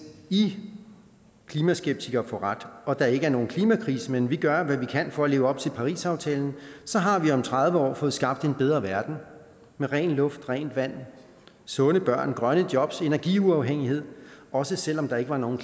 i klimaskeptikere får ret og der ikke er nogen klimakrise men vi gør hvad vi kan for at leve op til parisaftalen så har vi om tredive år fået skabt en bedre verden med ren luft rent vand sunde børn grønne job energiuafhængighed også selv om der ikke var nogen